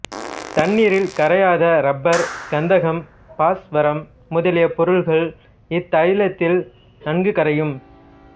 தண்ணீரில் கரையாத ரப்பர் கந்தகம் பாஸ்வரம் முதலிய பொருள்கள் இத்தைலத்தில் நன்கு கரையும்